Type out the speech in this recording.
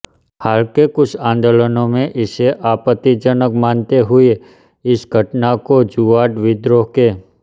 हाल के कुछ आंदोलनों में इसे आपत्तिजनक मानते हुए इस घटना को चुआड़ विद्रोह के